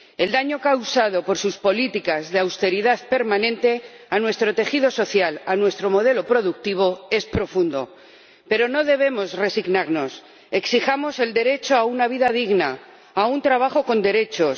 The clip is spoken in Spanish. El daño causado por sus políticas de austeridad permanente a nuestro tejido social, a nuestro modelo productivo es profundo, pero no debemos resignarnos exijamos el derecho a una vida digna, a un trabajo con derechos